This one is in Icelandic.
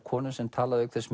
konu sem talar auk þess